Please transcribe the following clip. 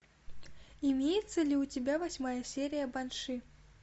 имеется ли у тебя восьмая серия банши